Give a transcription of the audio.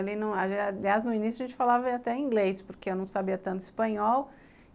Aliás, no início a gente falava até inglês, porque eu não sabia tanto espanhol.